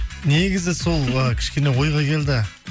негізі сол ы кішкене ойға келді